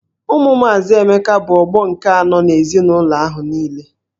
Ụmụ maazị Emeka bụ ọgbọ nke anọ n'ezinụlọ ahụ niile.